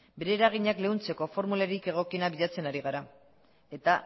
bere eraginak leuntzeko formularik egokienak bilatzen ari gara eta